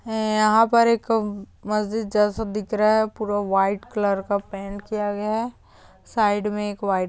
यहां पर एक मस्जिद जैसा दिख रहा है पूरा वाइट कलर का पेंट किया गया है साइड में एक वाइट--